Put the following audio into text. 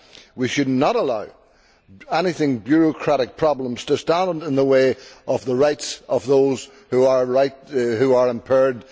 We should not allow any bureaucratic problems to stand in the way of the rights of those who are visually impaired.